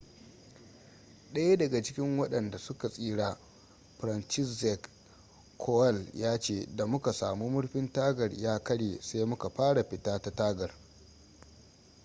daya daga cikin wadanda su ka tsira franciszek kowal ya ce da muka samu murfin tagar ya karye sai muka fara fita ta tagar